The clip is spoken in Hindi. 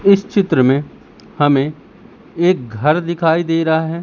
इस चित्र में हमें एक घर दिखाई दे रहा है।